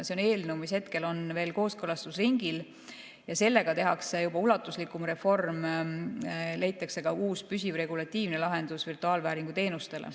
See eelnõu on hetkel veel kooskõlastusringil ja sellega tehakse juba ulatuslikum reform, leitakse ka uus püsiv regulatiivne lahendus virtuaalvääringu teenusele.